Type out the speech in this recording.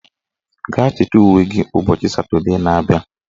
Gaa chịta uwe gị ụbọchị Satọdee na abịa